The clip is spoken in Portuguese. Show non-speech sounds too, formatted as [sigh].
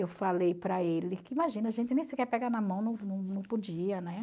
Eu falei para ele, imagina, a gente nem sequer pegar na mão, [unintelligible] não podia, né?